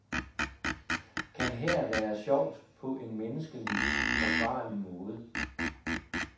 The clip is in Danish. Kan her være sjovt på en menneskeligt forsvarlig måde?